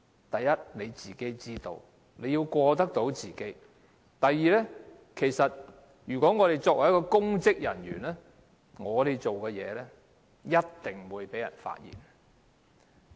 第一，要過得到自己那關；第二，作為公職人員，我們所做的事情一定會被人發現。